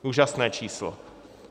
Úžasné číslo!